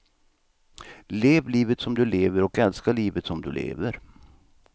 Lev livet som du lever och älska livet som du lever.